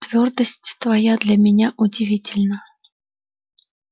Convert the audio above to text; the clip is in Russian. твёрдость твоя для меня удивительна